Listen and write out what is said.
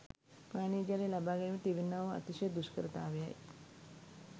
පානීය ජලය ලබා ගැනීමට තිබෙන්නා වූ අතිශය දුෂ්කරතාවයයි.